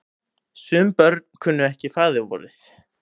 Sum börn kunnu ekki faðirvorið.